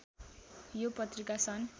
यो पत्रिका सन्